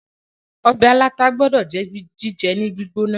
ọbẹ̀ aláta gbódò jẹ́ jíjẹ ní gbígbóná